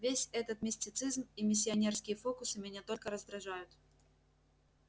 весь этот мистицизм и миссионерские фокусы меня только раздражают